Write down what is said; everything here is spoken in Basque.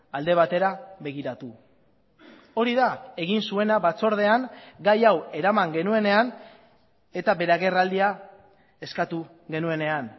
alde batera begiratu hori da egin zuena batzordean gai hau eraman genuenean eta bere agerraldia eskatu genuenean